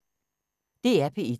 DR P1